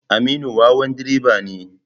Aminu wawan direba ne.